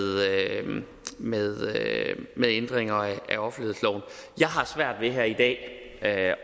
med ændringer af offentlighedsloven jeg har svært ved her i dag at